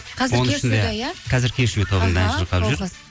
қазір кеш ю да иә қазір кеш ю тобында ән шырқап жүр